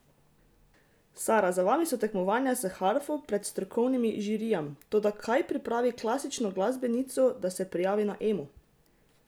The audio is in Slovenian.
Sara, za vami so tekmovanja s harfo pred strokovnimi žirijam, toda kaj pripravi klasično glasbenico, da se prijavi na Emo?